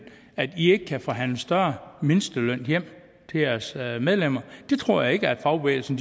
at i ikke kan forhandle en større mindsteløn hjem til jeres medlemmer jeg tror ikke at fagbevægelsen